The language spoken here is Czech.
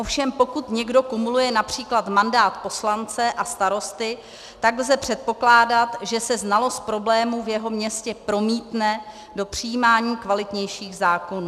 Ovšem pokud někdo kumuluje například mandát poslance a starosty, tak lze předpokládat, že se znalost problémů v jeho městě promítne do přijímání kvalitnějších zákonů.